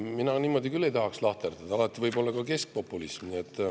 Mina küll ei tahaks niimoodi lahterdada, alati võib olla ka keskpopulism.